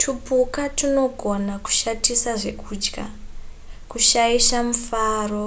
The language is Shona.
tupuka tunogona kushatisa zvekudya kushaisa mufaro